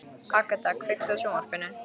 Agata, kveiktu á sjónvarpinu.